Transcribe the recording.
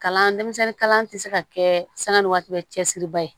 Kalan denmisɛnnin kalan tɛ se ka kɛ sani waati bɛ cɛsiri ba ye